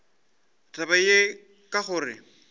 ka taba ye ka gore